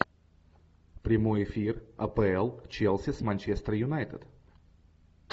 прямой эфир апл челси с манчестер юнайтед